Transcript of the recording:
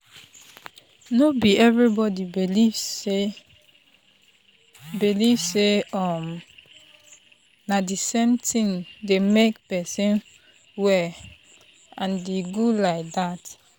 no be everybody believe say believe say um na the same thing dey make person well and e good like dat.